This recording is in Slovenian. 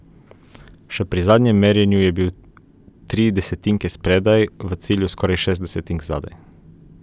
Še pri zadnjem merjenju je bila tri desetinke spredaj, v cilju skoraj šest desetink zadaj.